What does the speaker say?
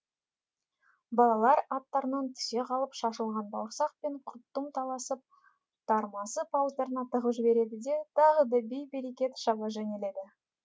балалар аттарынан түсе қалып шашылған бауырсақ пен құрттым таласып тармасып ауыздарына тығып жібереді де тағы да бей берекет шаба жөнеледі